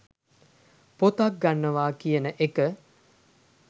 පොතක් ගන්නවා කියන එක